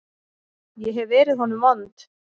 Ég hef verið honum vond.